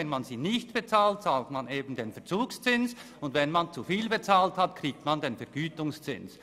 Bezahlt man diese nicht, bezahlt man den Verzugszins, und wenn man zu viel bezahlt hat, erhält man den Vergütungszins.